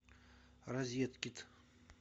розеткед